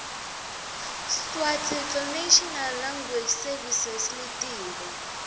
sswarticlenational language serviceslitiko